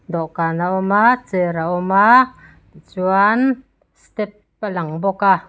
dawhkan a awm a chair a awm a chuann step a lang bawk a.